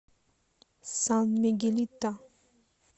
сан мигелито